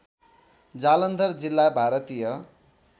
जालन्धर जिल्ला भारतीय